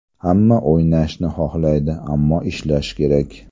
Hamma o‘ynashni xohlaydi, ammo ishlash kerak.